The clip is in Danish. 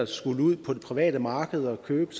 skal ud på det private marked og købe